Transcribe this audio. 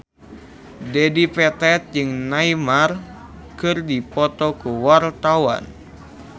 Dedi Petet jeung Neymar keur dipoto ku wartawan